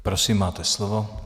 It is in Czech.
Prosím, máte slovo.